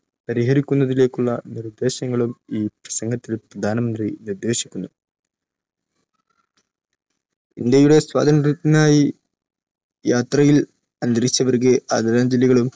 പരിഹരിക്കുന്നതിലേക്കുള്ള നിർദ്ദേശങ്ങളും ഈ പ്രസംഗത്തിൽ പ്രധാനമന്ത്രി നിർദ്ദേശിക്കുന്നു. ഇന്ത്യയുടെ സ്വാതന്ത്ര്യത്തിനായി യാത്രയിൽ അന്തരിച്ചവർക്ക് ആദരാഞ്ജലികളും